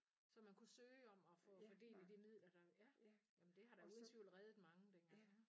Så man kunne søge om at få få del i de midler der ja jamen det har da uden tvivl reddet mange dengang